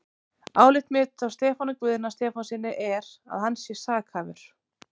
Álit mitt á Stefáni Guðna Stefánssyni er, að hann sé sakhæfur.